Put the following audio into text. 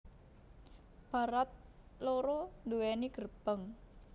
Barat loro duweni gerbang